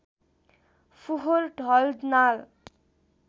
फोहोर ढल नाल